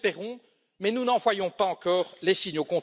Nous l'espérons, mais nous n'en voyons pas encore les signes.